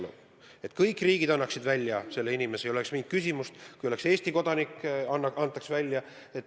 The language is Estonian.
See on, et kõik riigid annavad inimese välja ja ei oleks mingit küsimust: kui oleks Eesti kodanik, antaks ta välja.